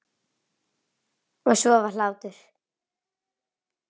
Og svo var hlátur.